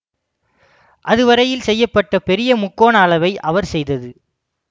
அதுவரையில் செய்ய பட்ட பெரியமுக்கோண அளவை அவர் செய்தது